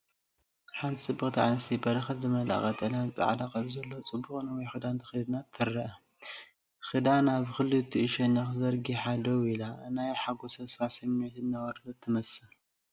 ሓንቲ ፅብቕቲ ኣነስተይቲ በረኸት ዝመልአ ቀጠልያን ጻዕዳን ቅርጺ ዘለዎ ጽቡቕ ነዊሕ ክዳን ተኸዲና ትርአ። ክዳና ብኽልቲኡ ሸነኽ ተዘርጊሓ ደው ኢላ፡ ናይ ሓጎስን ተስፋን ስምዒት እናወረደት ትመስል።